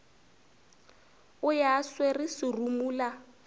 o ya a swere serumula